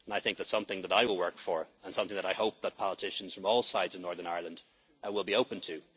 situation. That is something that I work for and something that I hope that politicians from all sides in Northern Ireland will